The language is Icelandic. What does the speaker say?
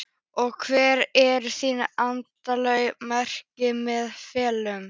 Og hver eru þín endanlegu markmið með ferlinum?